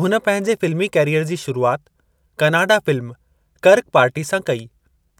हुन पंहिंजे फ़िल्मी कैरीयर जी शुरूआति कनाडा फ़िल्म कर्क पार्टी सां कई